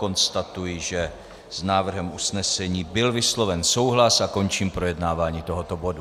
Konstatuji, že s návrhem usnesení byl vysloven souhlas, a končím projednávání tohoto bodu.